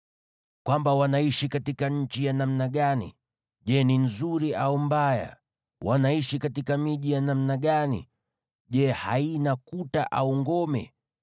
Wanaishi katika nchi ya namna gani? Je, ni nzuri au mbaya? Wanaishi katika miji ya namna gani? Je, haina kuta au ngome?